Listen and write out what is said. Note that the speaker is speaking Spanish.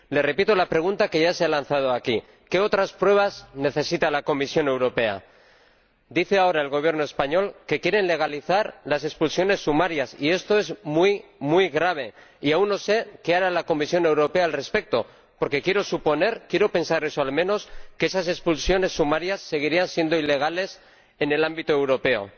Le repito la pregunta que ya se ha lanzado aquí ¿qué otras pruebas necesita la Comisión Europea? Dice ahora el Gobierno español que quiere legalizar las expulsiones sumarias y esto es muy grave, y aún no sé qué hará la Comisión Europea al respecto, porque quiero suponer —quiero pensar eso al menos— que esas expulsiones sumarias seguirían siendo ilegales en el ámbito europeo.